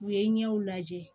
U ye ɲɛw lajɛ